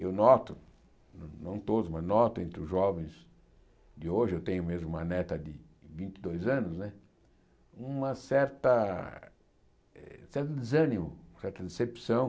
Eu noto, não todos, mas noto entre os jovens de hoje, eu tenho mesmo uma neta de vinte e dois anos né, uma certa eh certo desânimo, certa decepção.